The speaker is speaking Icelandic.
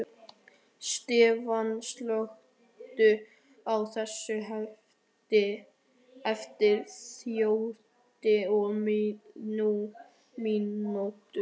Stefan, slökktu á þessu eftir þrjátíu og níu mínútur.